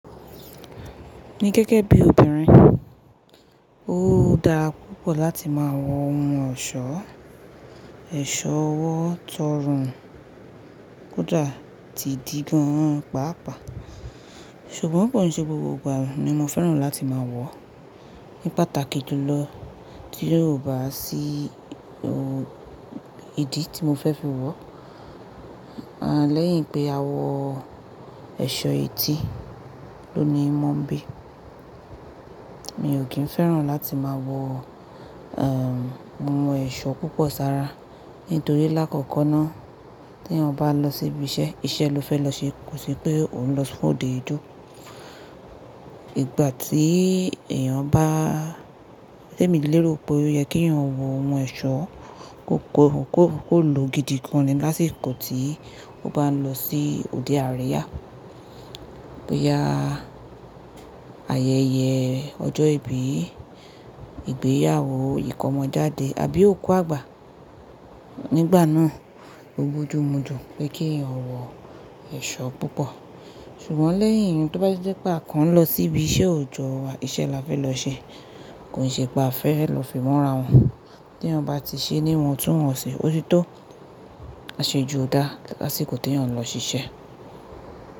Ni gẹ́gẹ́ bí obìnrin, ó dára púpọ̀ láti máa wọ ohun ọ̀ṣọ́, ẹ̀ṣọ́ ọwọ́ tó rùn kódà tí dí gan pàápàá. Ṣùgbọ́n òpọ̀ ni ṣe gbogbo ìgbà ni mo fẹ́ràn láti máa wọ̀. Ni pàtàkì jùlọ tí yóò bá sí ò idì tí mo fẹ́ fi wọ̀, à lẹ́yìn pé a wọ ẹ̀ṣọ́ etí ló ni mò ń bí. Mi ò kí ń fẹ́ràn láti máa wọ, ohun ẹ̀ṣọ́ púpọ̀ sára nítorí lákọ̀kọ́ náà tí ẹ̀yen bá lọ sí ibi iṣẹ́, iṣẹ́ ló fẹ́ lọ ṣe kò sì pé òun lọ fún òde ijó. Ìgbà tí èèyàn bá, témi lérò pé ó yẹ kí èyàn wọ ohun ẹ̀ṣọ́ kò kò kò kò lò gidi gan lásìkò tíì ó bá ń lọ sí òde àríyá bóyá ayẹyẹ ọjọ́ ìbí, ìgbéyàwó, ìkọ́mọjáde àbí òkú àgbà. Nígbà náà, ó bojumu ju pé kí ẹ̀yàn wọ ẹ̀ṣọ́ púpọ̀. Ṣùgbọ́n lẹ́yìn eyún tó tijé pé a kan lọ sí ibi iṣẹ́ òjọ́ wa, iṣẹ́ la fẹ́ lọ ṣe kò sì pé a fẹ́ lọ fi múra wọn. Tí ẹni ọba ti ṣe ní wọn tún wọ̀n ṣe, ó ti tó. A ṣe ojú ọ̀dá láti kò tí ì ẹni ọ̀ lọ ṣiṣẹ́.